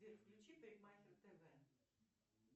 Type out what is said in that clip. сбер включи парикмахер тв